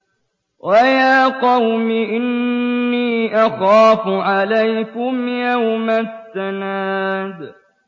وَيَا قَوْمِ إِنِّي أَخَافُ عَلَيْكُمْ يَوْمَ التَّنَادِ